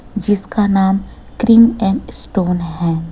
जिसका नाम cream and stone है।